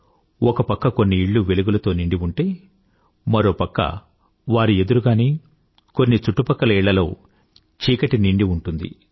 ఒక పక్క కొన్ని ఇళ్ళు వెలుగులతో నిండి ఉంటే మరో పక్క వారి ఎదురుగానే కొన్ని చుట్టుపక్కల ఇళ్ళల్లో చీకటి నిండి ఉంటుంది